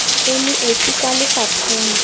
o le esi kwa lefapheng